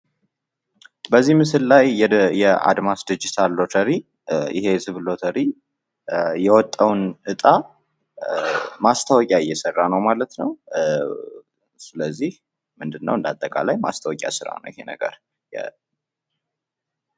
በዚ ምስል ላይ የአድማስ ዲጂታል ሎተሪ ፤ የህዝብ ሎተሪ የወጣውን እጣ ማስታወቂያ እየሰራ ነው ማለት ነው። ስለዚህ ምንድነው እንደአጠቃላይ ማስታወቂያ ስራ ነው ይሄ ነገር።